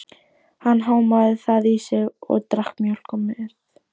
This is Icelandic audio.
Hann hámaði það í sig og drakk mjólk með.